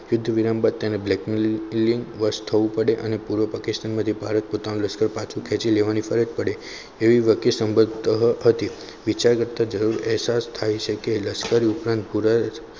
યુદ્ધ વિરામ બાદ તેને blackmailing વર્ષ થવું પડે અને પૂર્વ પાકિસ્તાન માંથી ભારત પોતાનું લશ્કર પાછું ખેંચી લેવાની ફરજ પડે એવી હતી વિચાર કરતા જરૂર અહેસાસ થાય કે લશ્કરી ઉપરંત